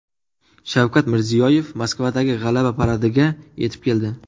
Shavkat Mirziyoyev Moskvadagi G‘alaba paradiga yetib keldi.